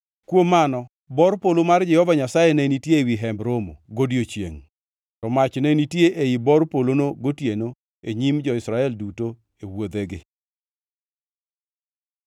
Kuom mano bor polo mar Jehova Nyasaye ne nitie ewi Hemb Romo godiechiengʼ, to mach ne nitie ei bor polono gotieno e nyim jo-Israel duto e wuodhegi.